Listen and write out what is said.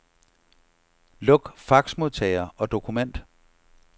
Luk faxmodtager og dokument.